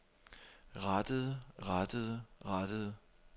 rettede rettede rettede